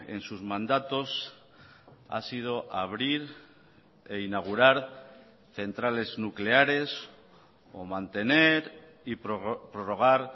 en sus mandatos ha sido abrir e inaugurar centrales nucleares o mantener y prorrogar